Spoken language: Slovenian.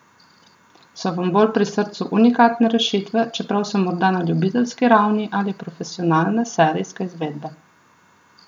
So vam bolj pri srcu unikatne rešitve, čeprav so morda na ljubiteljski ravni, ali profesionalne, serijske izvedbe?